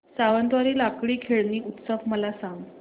सावंतवाडी लाकडी खेळणी उत्सव मला सांग